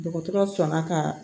Dɔgɔtɔrɔ fanga ka